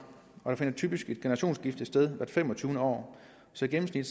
og der finder typisk et generationsskifte sted hvert femogtyvende år så i gennemsnit